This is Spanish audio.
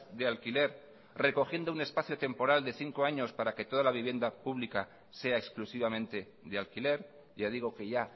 de alquiler recogiendo un espacio temporal de cinco años para que toda la vivienda pública sea exclusivamente de alquiler ya digo que ya